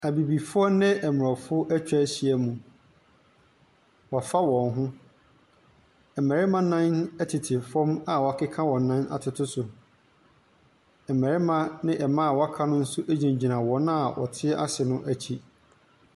Abibifoɔ ne aborɔfo atwa ahyia mu, wɔafa wɔn ho. Mmarima nnan tete fam a wɔakeka wɔn nan atoto so. Mmarima ne mmaa a wɔaka no nso gyina wɔn a wɔte ase no akyi.